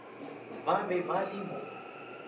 ba be ba le mo